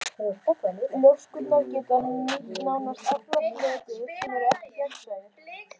Ljóskurnar geta nýtt nánast alla fleti sem ekki eru gegnsæir.